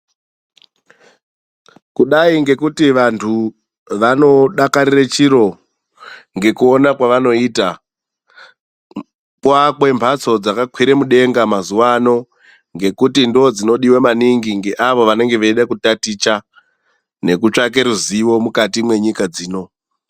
Kudai ngekuti vantu vanodakarire chiro ngekuona kwevanoita, kwoakwe mhatso dzakakwira mudenga mazuva ano ngekuti ndodzinodiwa maningi ngeavo vanenge veida kutaticha nekutsvake ruzivo mukati menyika dzino.